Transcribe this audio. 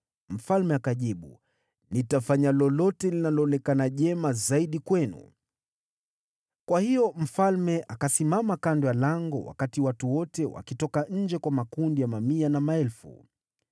Mfalme akajibu, “Nitafanya lolote linaloonekana jema zaidi kwenu.” Kwa hiyo mfalme akasimama kando ya lango wakati watu wote wakitoka nje kwa makundi ya mamia na maelfu.